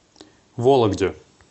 вологде